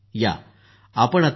या आपण आता डॉ